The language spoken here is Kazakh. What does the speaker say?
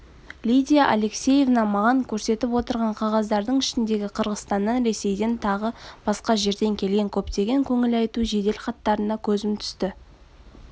лидия алексеевна маған көрсетіп отырған қағаздардың ішіндегі қырғызстаннан ресейден тағы басқа жерден келген көптеген көңілайту жеделхаттарына көзім түсті